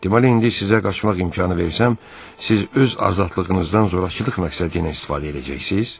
Deməli, indi sizə qaçmaq imkanı versəm, siz öz azadlığınızdan zorakılıq məqsədi ilə istifadə eləyəcəksiz?